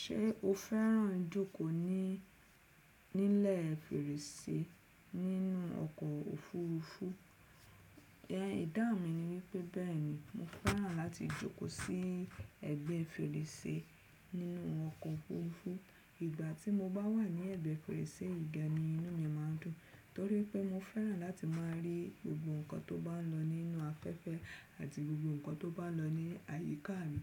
Ṣé o fẹ́ràn jókòó ní nílẹ̀ fèrèsé nínú ọkọ̀ òfuurufú? Ẹ̀dá mi ni wípé bẹ́ẹ̀ni mo fẹ́ràn láti jókòó sí ẹ̀gbẹ́ fèrèsé nínú ọkọ̀ òfuurufú. Ìgbà tí mo bá wà ní ẹ̀gbẹ́ fèrèsé ìgba ni inú mi má a ń dùn torí pé mo fẹ́ràn láti máa rí gbogbo nǹkan tó bá ń lọ nínú afẹ́fẹ́ àti gbogbo nǹkan tó bá ń lọ ní àyíká mi.